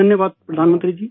धन्यवाद प्रधानमंत्री जी